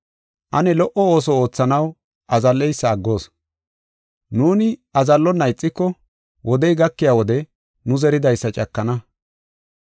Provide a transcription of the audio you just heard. Ane lo77o ooso oothanaw azalleysa aggoos. Nuuni azallonna ixiko wodey gakiya wode nu zeridaysa cakana.